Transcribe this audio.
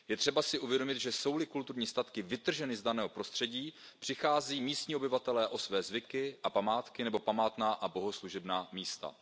Je třeba si uvědomit, že jsou li kulturní statky vytrženy z daného prostředí, přichází místní obyvatelé o své zvyky a památky nebo památná a bohoslužebná místa.